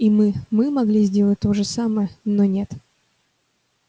и мы мы могли сделать то же самое но нет